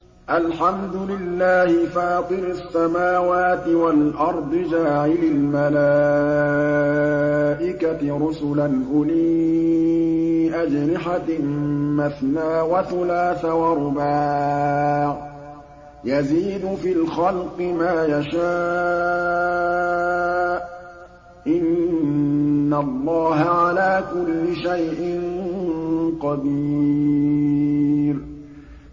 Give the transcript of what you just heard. الْحَمْدُ لِلَّهِ فَاطِرِ السَّمَاوَاتِ وَالْأَرْضِ جَاعِلِ الْمَلَائِكَةِ رُسُلًا أُولِي أَجْنِحَةٍ مَّثْنَىٰ وَثُلَاثَ وَرُبَاعَ ۚ يَزِيدُ فِي الْخَلْقِ مَا يَشَاءُ ۚ إِنَّ اللَّهَ عَلَىٰ كُلِّ شَيْءٍ قَدِيرٌ